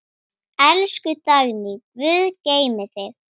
Elsku Dagný, Guð geymi þig.